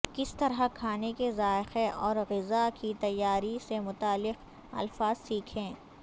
کس طرح کھانے کے ذائقہ اور غذا کی تیاری سے متعلقہ الفاظ سیکھیں